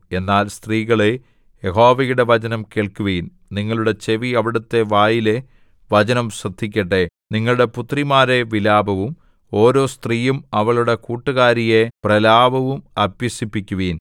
എന്നാൽ സ്ത്രീകളേ യഹോവയുടെ വചനം കേൾക്കുവിൻ നിങ്ങളുടെ ചെവി അവിടുത്തെ വായിലെ വചനം ശ്രദ്ധിക്കട്ടെ നിങ്ങളുടെ പുത്രിമാരെ വിലാപവും ഓരോ സ്ത്രീയും അവളുടെ കൂട്ടുകാരിയെ പ്രലാപവും അഭ്യസിപ്പിക്കുവിൻ